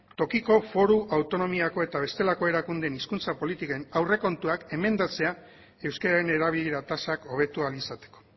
tokiko foru autonomiako eta bestelako erakundeen hizkuntza politiken aurrekontuak emendatzea euskararen erabilera tasak hobetu ahal izateko